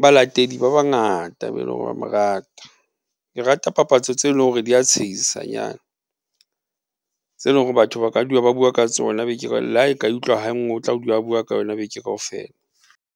balatedi ba bangata be leng hore ba mo rata. Ke rata papatso tse lore di a tshehisanyana tse lore batho ba ka dula ba bua ka tsona le ha ka e utlwa hanngwe, o tla dula a bua ka yona beke kaofela.